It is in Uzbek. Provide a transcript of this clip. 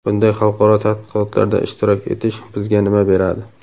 bunday xalqaro tadqiqotlarda ishtirok etish bizga nima beradi?.